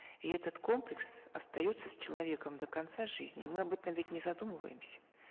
и этот комплекс остается с человеком до конца жизни мы об этом ведь не задумываемся